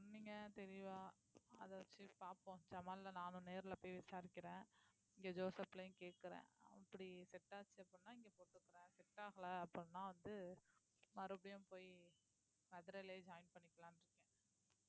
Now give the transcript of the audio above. சொன்னீங்க தெளிவா அதை வச்சு பார்ப்போம் ஜமால்ல நானும் நேர்ல போய் விசாரிக்கிறேன் இங்க ஜோசப்லயும் கேட்கிறேன் இப்படி set ஆச்சு அப்படின்னா இங்க போட்டுக்கறேன் set ஆகல அப்படின்னா வந்து மறுபடியும் போயி மதுரையிலேயே join பண்ணிக்கலாம்னு இருக்கேன்